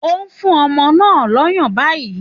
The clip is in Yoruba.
Ó ń fún ọmọ náà lọ́yàn báyìí